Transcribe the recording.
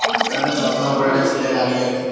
এটা একটা চশমা পরে একটা ছেলে দাঁড়িয়ে আছে ।